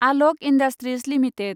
आलक industries limited